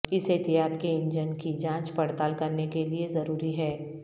اس احتیاط کے انجن کی جانچ پڑتال کرنے کے لئے ضروری ہے